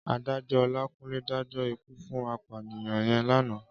Ádájò Olakunle dájò ikú fún àpániyàn yèn làná